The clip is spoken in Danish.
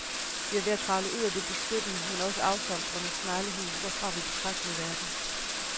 Vi er ved at kravle ud af det beskyttende, men også afsondrende sneglehus, hvorfra vi betragtede verden.